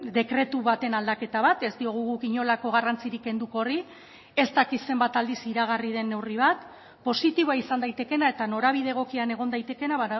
dekretu baten aldaketa bat ez diogu guk inolako garrantzirik kenduko horri ez dakit zenbat aldiz iragarri den neurri bat positiboa izan daitekeena eta norabide egokian egon daitekeena